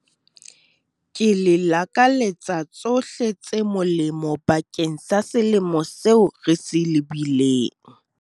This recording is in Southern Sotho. Ke le lakaletsa tshohle tse molemo bakeng sa selemo seo re se lebileng.